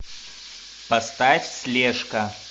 поставь слежка